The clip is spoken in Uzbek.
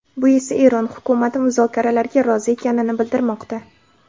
Bu esa Eron hukumati muzokaralarga rozi ekanini bildirmoqda.